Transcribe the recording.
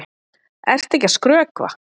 Ertu ekki að skrökva?